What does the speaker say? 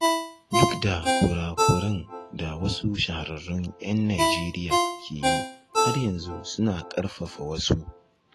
Duk da kura-kuran da wasu shahararrun ‘yan Najeriya ke yi, har yanzu suna ƙarfafa wasu.